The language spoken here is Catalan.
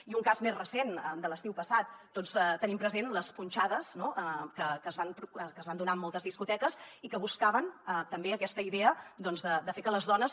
i un cas més recent de l’estiu passat tots tenim presents les punxades que es van donar en moltes discoteques i que buscaven també aquesta idea doncs de fer que les dones